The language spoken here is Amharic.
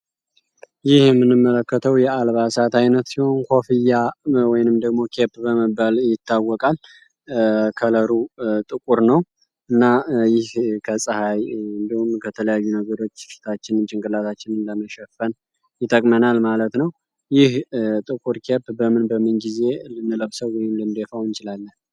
ይህ የምንመለከተው የአልባሳት ዓይነት ሲሆን ኮፍያ ወይንም ደግሞ ኬፕ በመባል ይታወቃል። ከለሩ ጥቁር ነው እና ይህ ከፀሐይ እንደውም ከተለያዩ ነገሮች ፊታችንን ጭንግላታችን ለመሸፈን ይጠቅመናል ማለት ነው። ይህ ጥቁር ኬፕ በምን በምን ጊዜ ልንለብሰው ወይም ልንዴፋውን እንችላለን?